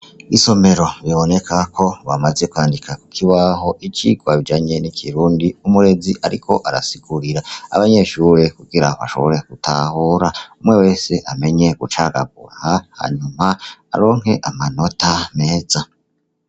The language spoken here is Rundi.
Isomero bibonekako bamaze kwandika kukibaho icirwa kijanye n'ikirundi umurezi ariko arasigurira abanyeshuri kugira bashobore gutahura umwe wese amenye gucagagura, hanyuma baronke amanota meza.